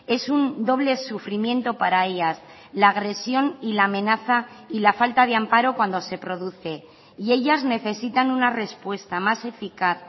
es un doble sufrimiento para ellas la agresión y la amenaza y la falta de amparo cuando se produce y ellas necesitan una respuesta más eficaz